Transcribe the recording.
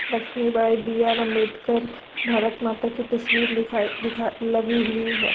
Lakshmi Bai B. R. Ambedkar Bharat Mata की तस्वीर दिखाइ दिखा लगी हुई है |